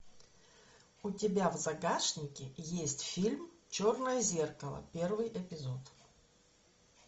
у тебя в загашнике есть фильм черное зеркало первый эпизод